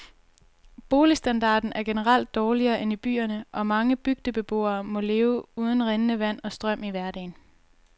Boligstandarden er generelt dårligere end i byerne, og mange bygdebeboere må leve uden rindende vand og strøm i hverdagen.